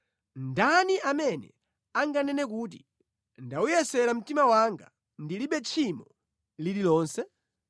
Ndani amene anganene kuti, “Ndawuyeretsa mtima wanga; ndilibe tchimo lililonse?”